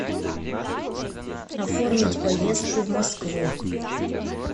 оформить поездку в москву